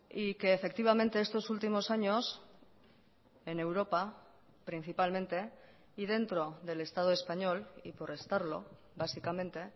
y que efectivamente estos últimos años en europa principalmente y dentro del estado español y por estarlo básicamente